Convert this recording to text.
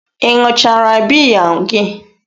Ị ṅụchara biya gị?